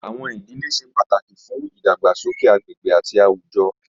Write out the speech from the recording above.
Awọn idile ṣe pataki fun idagbasoke agbegbe ati awujọ